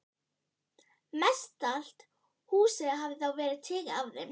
Mestallt húsið hafði þá verið tekið af þeim.